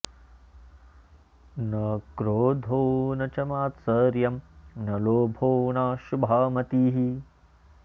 न क्रोधो न च॑ मात्स॒र्यं न॒ लोभो॑ नाशु॒भा म॑तिः